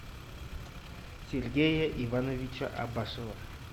сергея ивановича абашева